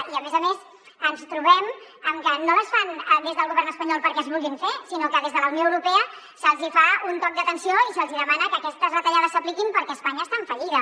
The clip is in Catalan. i a més a més ens trobem amb que no les fan des del govern espanyol perquè es vulguin fer sinó que des de la unió europea se’ls fa un toc d’atenció i se’ls demana que aquestes retallades s’apliquin perquè espanya està en fallida